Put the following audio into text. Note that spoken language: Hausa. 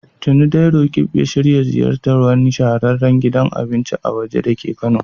Tuni dai Roqeeb ya shirya ziyartar wani shahararren gidan abinci na waje dake Kano.